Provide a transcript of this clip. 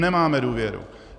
Nemáme důvěru.